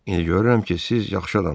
İndi görürəm ki, siz yaxşı adamsız.